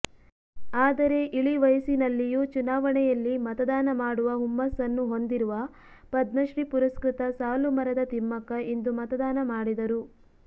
ಆದರೆ ಇಳಿವಯಸ್ಸಿನಲ್ಲಿಯೂ ಚುನಾವಣೆಯಲ್ಲಿ ಮತದಾನ ಮಾಡುವ ಹುಮ್ಮಸ್ಸನ್ನು ಹೊಂದಿರುವ ಪದ್ಮಶ್ರೀ ಪುರಸ್ಕೃತ ಸಾಲು ಮರದ ತಿಮ್ಮಕ್ಕ ಇಂದು ಮತದಾನ ಮಾಡಿದರು